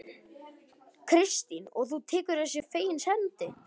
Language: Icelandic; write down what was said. Kristín: Og þú tekur þessu fegins hendi?